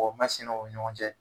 O masina o ɲɔgɔn cɛ